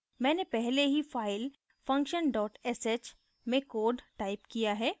मैंने पहले ही file function sh में code टाइप किया है